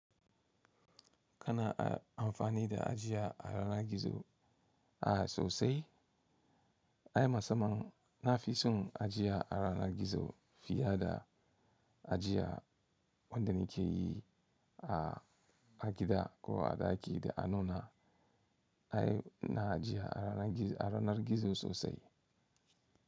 Kana amfani da ajiya a yanar gizo a sosai? Ai, musamman na fi son ajiya a yanar gizo fiye da ajiya wanda nike yi a gida ko a ɗaki da anona. Ai, na ajiye a ranar gizo sosai.